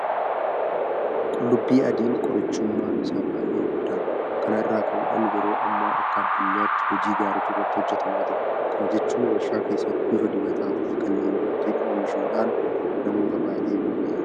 Qullubbii adiin qorichummaan isaa baay'ee guddaadha. Kana irraa ka'uudhaan yeroo ammaa akka addunyaatti hojii gaariitu irratti hojjetamaa jira. Kana jechuun warshaa keessatti bifa dibataafi kanneen birootiin oomishuudhaan namoota baay'ee bira ga'aa jira.